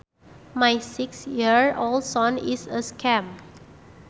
My six year old son is a scamp